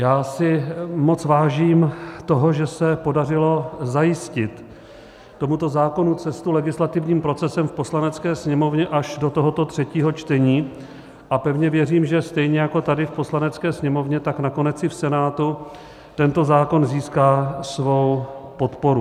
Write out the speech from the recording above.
Já si moc vážím toho, že se podařilo zajistit tomuto zákonu cestu legislativním procesem v Poslanecké sněmovně až do tohoto třetího čtení, a pevně věřím, že stejně jako tady v Poslanecké sněmovně, tak nakonec i v Senátu tento zákon získá svou podporu.